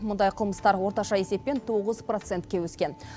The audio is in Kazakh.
мұндай қылмыстар орташа есеппен тоғыз процентке өскен